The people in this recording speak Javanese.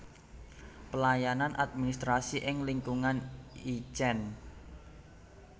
Pelayanan administrasi ing lingkungan Itjen